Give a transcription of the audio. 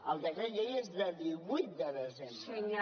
el decret llei és del divuit de desembre